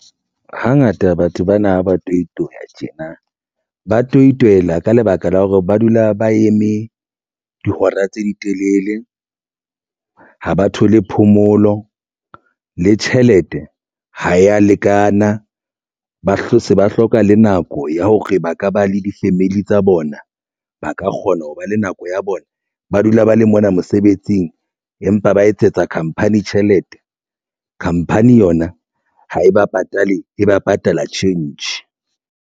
Hangata batho bana ba toitoya tjena ba toitoiyela ka lebaka la hore ba dula ba eme dihora tse di telele ha ba thole phomolo le tjhelete ha ya lekana, ba hlotse ba hloka le nako ya hore ba ka ba le di-family tsa bona ba ka kgona ho ba le nako ya bona, ba dula ba le mona mosebetsing empa ba etsetsa khamphani tjhelete khamphani yona ha e ba patale e ba patala tjhentjhe.